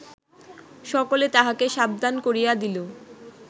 সকলে তাহাকে সাবধান করিয়া দিল